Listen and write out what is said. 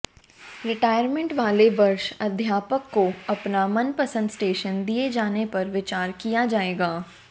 retirement वाले वर्ष अध्यापक को अपना मनपसंद स्टेशन दिए जाने पर विचार किया जाएगा